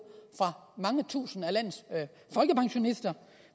for mange tusinde af landets folkepensionister